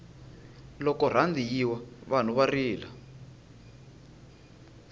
loko rhandi yi wa vanhu va rila